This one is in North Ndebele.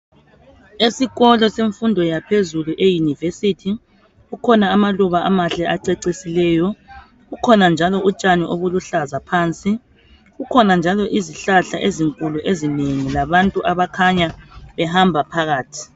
Esikolo semfundo yaphezulu eUniversity kukhona amaluba amahle acecisileyo kukhona njalo utshani obuluhlaza phansi kukhona njalo izihlahla ezinkulu ezinengi labantu abakhanya behamba phakathi.